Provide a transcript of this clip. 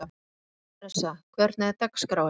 Theresa, hvernig er dagskráin?